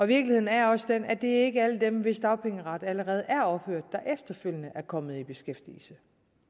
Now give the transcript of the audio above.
virkeligheden er også den at det ikke er alle dem hvis dagpengeret allerede er ophørt der efterfølgende er kommet i beskæftigelse